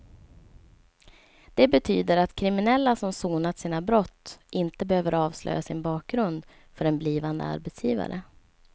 Det betyder att kriminella som sonat sina brott inte behöver avslöja sin bakgrund för en blivande arbetsgivare.